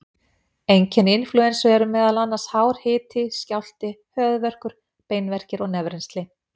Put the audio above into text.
Einkenni inflúensu eru meðal annars hár hiti, skjálfti, höfuðverkur, beinverkir og nefrennsli.